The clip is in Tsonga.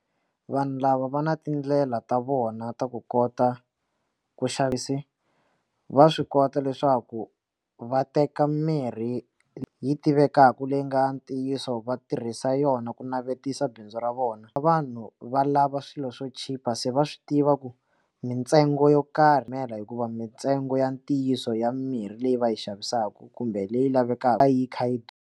Vanhu lava va na tindlela ta vona ta ku kota ku xavisa va swi kota leswaku va teka mirhi yi tivekaka leyi nga ntiyiso va tirhisa yona yona ku navetisa bindzu ra vona vanhu valava swilo swo chipa se va swi tiva ku mintsengo yo karhi ndlela hikuva mintsengo ya ntiyiso ya mirhi leyi va yi xavisaka kumbe leyi lavekaka yi kha yi durha.